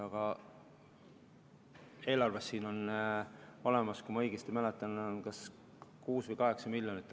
Aga eelarves on selle koha peal olemas, kui ma õigesti mäletan, kas 6 või 8 miljonit.